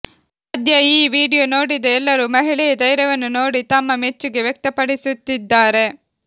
ಸದ್ಯ ಈ ವಿಡಿಯೋ ನೋಡಿದ ಎಲ್ಲರೂ ಮಹಿಳೆಯ ಧೈರ್ಯವನ್ನು ನೋಡಿ ತಮ್ಮ ಮೆಚ್ಚುಗೆ ವ್ಯಕ್ತಪಡಿಸುತ್ತಿದ್ದಾರೆ